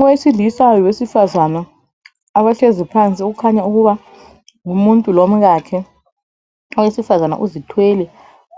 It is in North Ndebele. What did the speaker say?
Owesilisa lowesifazana abahlezi phansi okukhanya ukuba ngumuntu lomkakhe .Owesifazana uzithwele